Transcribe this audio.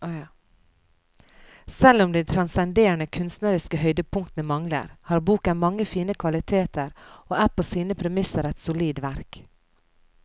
Selv om de transcenderende kunstneriske høydepunktene mangler, har boken mange fine kvaliteter og er på sine egne premisser et solid verk.